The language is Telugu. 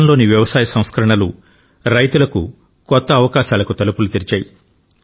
గతంలోని వ్యవసాయ సంస్కరణలు రైతులకు కొత్త అవకాశాలకు తలుపులు తెరిచాయి